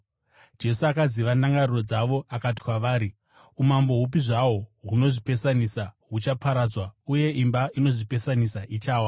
Jesu akaziva ndangariro dzavo akati kwavari, “Umambo hupi zvahwo hunozvipesanisa huchaparadzwa, uye imba inozvipesanisa ichawa.